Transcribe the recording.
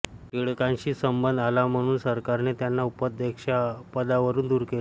टिळकांशी संबंध आला म्हणून सरकारने त्यांना उपाध्यक्षपदावरून दूर केले